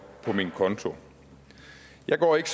på min konto jeg går ikke